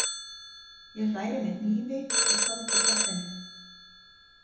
Ég hræri með hnífi í köldu kaffinu.